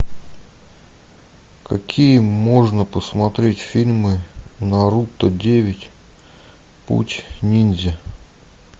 какие можно посмотреть фильмы наруто девять путь ниндзя